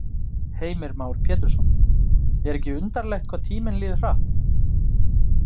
Heimir Már Pétursson: Er ekki undarlegt hvað tíminn líður hratt?